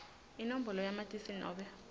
inombolo yamatisi nobe